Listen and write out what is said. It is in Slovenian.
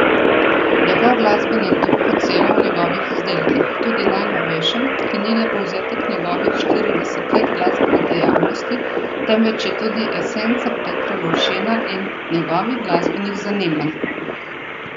Njegov glasbeni duh odseva v njegovih izdelkih, tudi najnovejšem, ki ni le povzetek njegovih štiridesetih let glasbene dejavnosti, temveč je tudi esenca Petra Lovšina in njegovih glasbenih zanimanj.